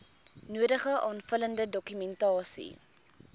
nodige aanvullende dokumentasie